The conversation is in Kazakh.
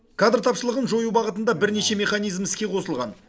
кадр тапшылығын жою бағытында бірнеше механизм іске қосылған